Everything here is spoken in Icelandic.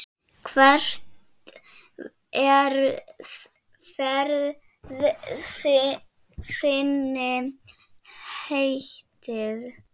Hvert er ferð þinni heitið?